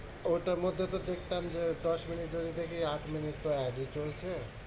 ওটার মধ্যে তো দেখতাম যে দশ মিনিট যদি দেখি আট মিনিট তো ad ই চলছে।